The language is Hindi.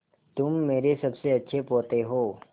तुम मेरे सबसे अच्छे पोते हो